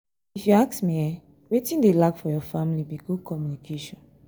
if you ask me eh wetin dey lack for your family be good communication